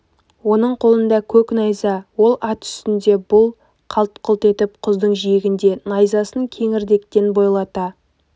оның қолында көк найза ол ат үстінде бұл қалт-құлт етіп құздың жиегінде найзасын кеңірдектен бойлата